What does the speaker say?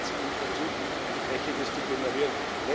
Hier sind Sie in Verzug, Entsprechendes zu generieren.